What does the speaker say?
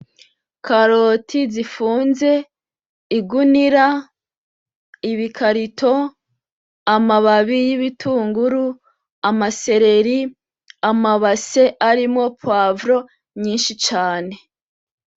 Ikaroti zifunze, igunira, ibikarito, amababi y'ibitunguru, ama sereri, ama base arimwo pwavro nyinshi cane.